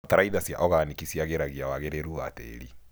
Bataraitha cia oganĩki ciagĩragia wagĩrĩru wa tĩri.